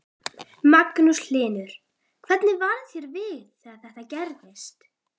Magnús Hlynur: Hvernig varð þér við þegar þetta gerðist?